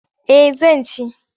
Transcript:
Eh zan ci.